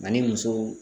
Ani muso